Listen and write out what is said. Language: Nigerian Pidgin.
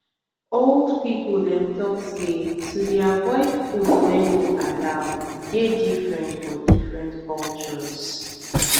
old people dem talk say to dey avoid food wey no allow dey different for different cultures